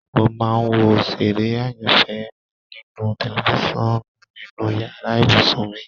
Mo máa ń wo òṣèré ayanfẹ́ mí ninu tẹlifisiọnu inú yàrá ibùsùn mi